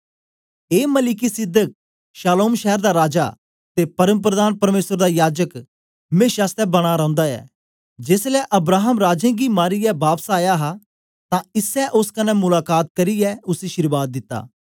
ए Melchizedek शालोम शैर दा राजा ते परमप्रधान परमेसर दा याजक मेशा आसतै बना रौंदा ऐ जेसलै अब्राहम राजें गी मारीयै बापस आया हा तां इसै ओस कन्ने मुलाका त करियै उसी अशीर्वाद दिती